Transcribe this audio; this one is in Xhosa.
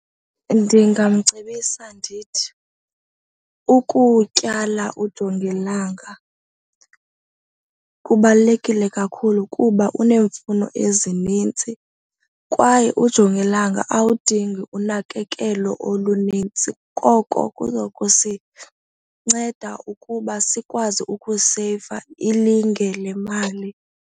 Ndingamcebisa ndithi ukutyala ujongilanga kubalulekile kakhulu kuba uneemfuno ezinintsi kwaye ujongilanga awudingi unakekelo olunintsi koko kuza kusinceda ukuba sikwazi ukuseyiva ilinge lemali.